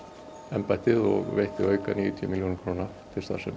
embættið og veitti auka níutíu milljónir króna